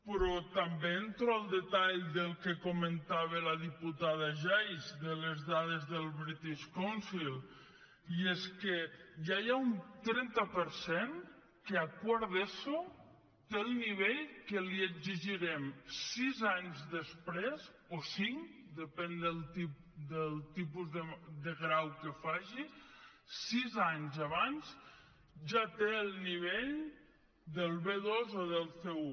però també entro al detall del que comentava la diputada geis de les dades del british council i és que ja hi ha un trenta per cent que a quart d’eso té el nivell que li exigirem sis anys després o cinc depèn del tipus de grau que faci sis anys abans ja té el nivell del b2 o del c1